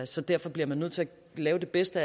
så derfor bliver man nødt til at lave det bedste